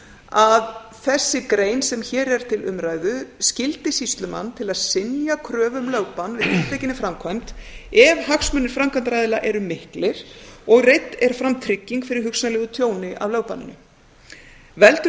að þessi grein sem hér er til umræðu skyldi sýslumann til þess að synja um kröfu um lögbann við tiltekinni framkvæmd ef hagsmunir framkvæmdaraðila eru miklir og reidd er fram trygging fyrir hugsanlegu tjóni af lögbanninu veldur